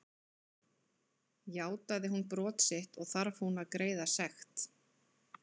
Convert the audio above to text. Játaði hún brot sitt og þarf hún að greiða sekt.